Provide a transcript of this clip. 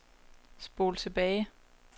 spol tilbage